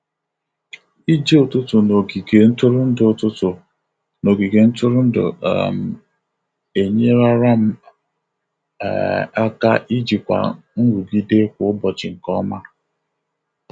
Ije ụtụtụ n'ogige ntụrụndụ ụtụtụ n'ogige ntụrụndụ um enyerara m um aka ijikwa nrụgide kwa ụbọchị nke ọma.